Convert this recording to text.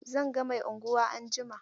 Zan ga Mai unguwa anjima.